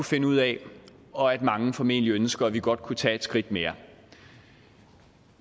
finde ud af og at mange formentlig ønsker at vi godt kunne tage et skridt mere